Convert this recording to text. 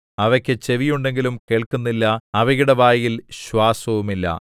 അവയ്ക്കു ചെവിയുണ്ടെങ്കിലും കേൾക്കുന്നില്ല അവയുടെ വായിൽ ശ്വാസവുമില്ല